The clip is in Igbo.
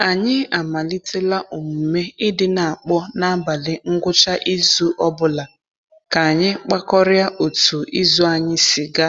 Anyị amalitela omume i di n'akpọ n'abalị ngwucha izu ọbụla ka anyị kpakorịa otu izu anyị si ga.